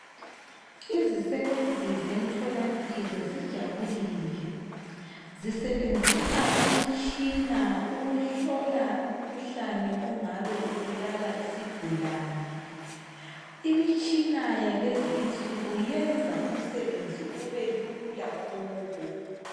Izisebenzi zemtholampilo zijabulile. Zisebenzisa imitshina ukuhlola umkhuhlane ongabe ubulala isigulani. Imtshina yalezi insuku yenza umsebenzi ubelula kubo.